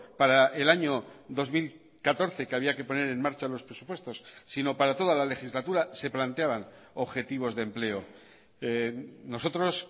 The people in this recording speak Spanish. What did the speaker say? para el año dos mil catorce que había que poner en marcha los presupuestos sino para toda la legislatura se planteaban objetivos de empleo nosotros